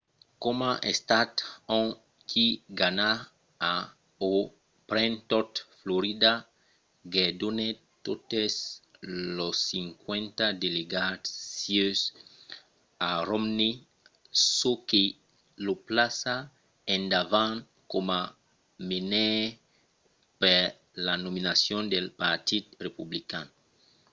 coma estat ont qui ganha o pren tot florida guerdonèt totes los cinquanta delegats sieus a romney çò que lo plaça endavant coma menaire per la nominacion del partit republican